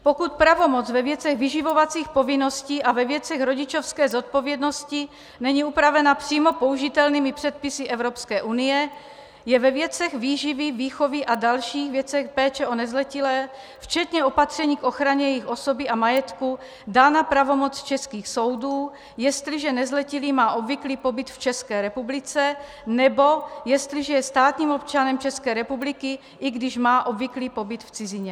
Pokud pravomoc ve věcech vyživovacích povinností a ve věcech rodičovské zodpovědnosti není upravena přímo použitelnými předpisy Evropské unie, je ve věcech výživy, výchovy a dalších věcech péče o nezletilé, včetně opatření k ochraně jejich osoby a majetku, dána pravomoc českých soudů, jestliže nezletilý má obvyklý pobyt v České republice nebo jestliže je státním občanem České republiky, i když má obvyklý pobyt v cizině.